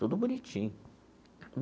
Tudo bonitinho.